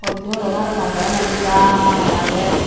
polti hurobow paroman birat aagay.